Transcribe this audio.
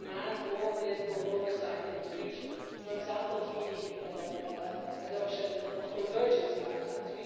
We demand more political oversight in the future, for example though the adoption of convergence guidelines.